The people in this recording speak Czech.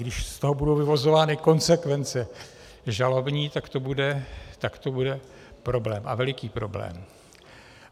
Když z toho budou vyvozovány konsekvence žalobní, tak to bude problém, a veliký problém.